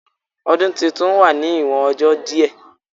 Odun titun wa ni iwon ọjọ di